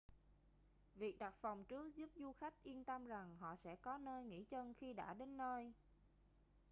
việc đặt phòng trước giúp du khách yên tâm rằng họ sẽ có nơi nghỉ chân khi đã đến nơi